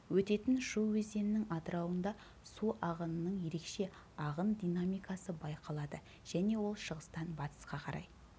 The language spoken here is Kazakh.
өтетін шу өзенінің атырауында су ағынының ерекше ағын динамикасы байқалады және ол шығыстан батысқа қарай